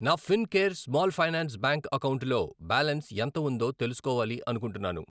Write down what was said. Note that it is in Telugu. నా Fincare small finance bank అకౌంటులో బ్యాలన్స్ ఎంత ఉందో తెలుసుకోవాలి అనుకుంటున్నాను.